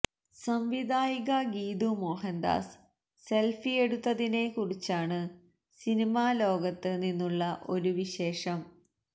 സംവിധായിക ഗീതു മോഹൻദാസ് സെല്ഫിയെടുത്തതിനെ കുറിച്ചാണ് സിനിമ ലോകത്ത് നിന്നുള്ള ഒരു വിശേഷം